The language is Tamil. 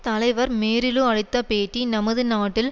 தலைவர் மேரி லூ அளித்த பேட்டி நமது நாட்டில்